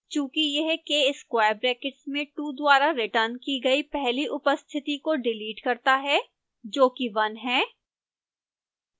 चूँकि यह k square brackets में two द्वारा रिटर्न की गई पहली उपस्थिति को डिलीट करता है जो कि one है